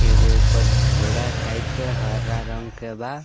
एगो ऊपर झोरा टाइप के हरा रंग के बा।